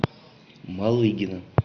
малыгина